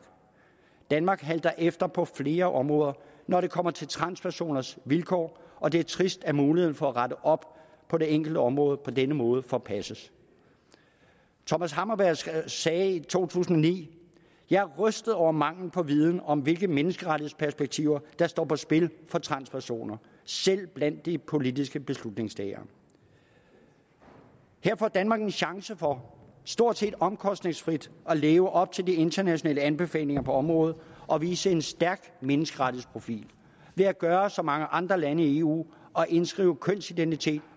danmark halter efter på flere områder når det kommer til transpersoners vilkår og det er trist at muligheden for at rette op på det enkelte område på denne måde forpasses thomas hammarberg sagde i 2009 jeg er rystet over den mangel på viden om hvilke menneskerettighedsperspektiver der står på spil for transpersoner selv blandt de politiske beslutningstagere her får danmark en chance for stort set omkostningsfrit at leve op til de internationale anbefalinger på området og vise en stærk menneskerettighedsprofil ved at gøre som mange andre lande i eu og indskrive kønsidentitet